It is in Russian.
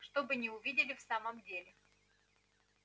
чтобы не увидели в самом деле